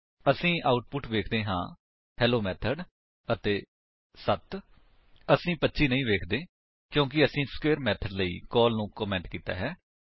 ਅਸੀ ਆਉਟਪੁਟ ਵੇਖਦੇ ਹਾਂ ਹੇਲੋ ਮੈਥਡ ਅਤੇ 7 ਅਸੀ 25 ਨਹੀਂ ਵੇਖਦੇ ਹਾਂ ਕਿਉਂਕਿ ਅਸੀਂ ਸਕਵੇਰ ਮੇਥਡ ਲਈ ਕਾਲ ਨੂੰ ਕਮੇਂਟ ਕੀਤਾ ਹੈ